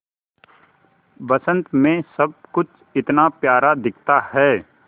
बसंत मे सब कुछ इतना प्यारा दिखता है